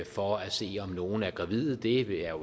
for at se om nogen er gravid det er